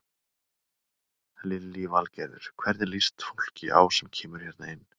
Lillý Valgerður: Hvernig líst fólki á sem kemur hérna inn?